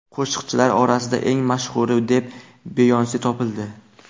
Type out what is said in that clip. Qo‘shiqchilar orasida eng mashhuri deb Beyonse topildi.